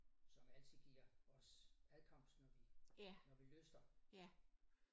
Som altid giver os adkomst når vi lyster